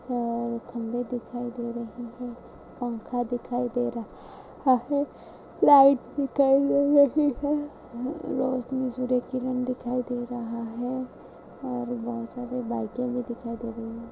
और खम्बे दिखाई दे रहे है पंखा दिखाई दे र रहा है लाइट दिखाई दे रही है रौशनी सूरज की किरण दिखाई दे रहा है और बहुत सारी बाइके भी दिखाई दे रही है।